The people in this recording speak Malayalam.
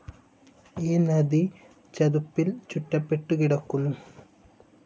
ഈ നദി ചതുപ്പിൽ ചുറ്റപ്പെട്ടുകിടക്കുന്നു.